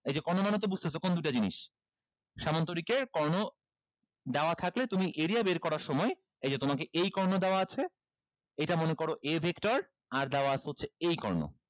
এই যে কর্ণ মানে তো বুঝতেছো কোন দুইটা জিনিস সামান্তরিকের কর্ণ দেওয়া থাকলে তুমি area বের করার সময় এই যে তোমাকে এই কর্ণ দেওয়া আছে এইটা মনে করো a vector আর দেওয়া আছে হচ্ছে এই কর্ণ